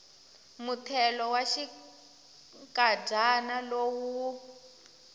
muthelo wa xinkadyana lowu wu